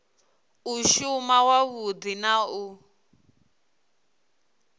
u shuma wavhudi na u